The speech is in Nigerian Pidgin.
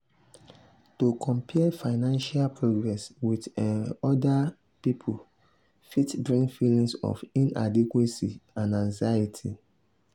to compare financial progress with um other um pipul fit bring feelings of inadequacy and anxiety.